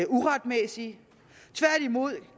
uretmæssige vi